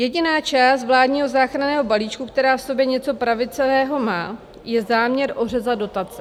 Jediná část vládního záchranného balíčku, která v sobě něco pravicového má, je záměr ořezat dotace.